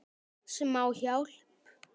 Smá hjálp.